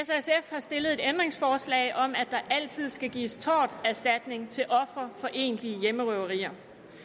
har stillet et ændringsforslag om at der altid skal gives torterstatning til ofre for egentlige hjemmerøverier